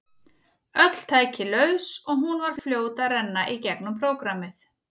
Öll tæki laus og hún var fljót að renna í gegnum prógrammið.